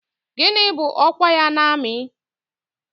Gịnị bụ ọkwa ya n'amị?